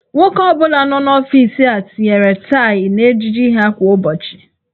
Nwoke ọ bụla nọ n'ọfiisi a tinyere taị n'ejiji ha kwa ụbọchị.